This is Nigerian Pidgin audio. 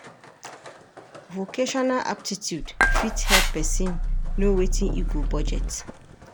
Vocational aptitude fit help pesin know wetin e go budget.